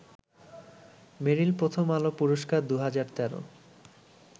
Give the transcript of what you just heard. মেরিল প্রথম আলো পুরস্কার ২০১৩